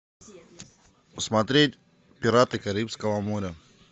смотреть пираты карибского моря